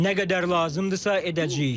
Nə qədər lazımdırsa edəcəyik.